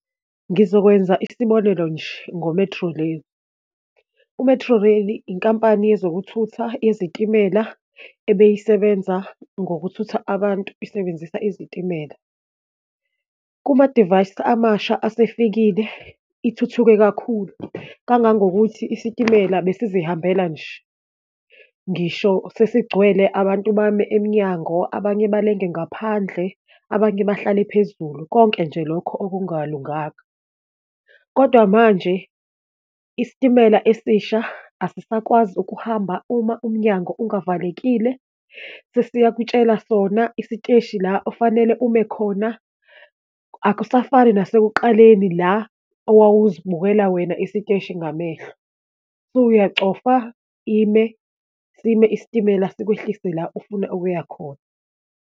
Ngizokwenza isibonelo nje, ngo-Metrorail. U-Metrorail inkampani yezokuthutha yezitimela ebeyisebenza ngokuthutha abantu isebenzisa izitimela. Kuma divayisi amasha asefikile ithuthuke kakhulu, kangangokuthi isitimela besizihambela nje, ngisho sesigcwele abantu bame emnyango, abanye balenge ngaphandle, abanye bahlale phezulu, konke nje lokho okungalunganga. Kodwa manje isitimela esisha asisakwazi ukuhamba uma umnyango ungavalekile, sesiyakutshela sona isiteshi la ofanele ume khona, akusafani nasekuqaleni la owawuzibukela wena isiteshi ngamehlo, suyacofa, ime, sime isitimela sikwehlise la ofuna ukuya khona.